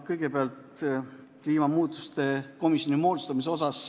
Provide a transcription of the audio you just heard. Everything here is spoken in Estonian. Kõigepealt kliimamuutuste komisjoni moodustamise kohta.